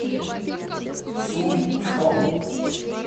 сунчхон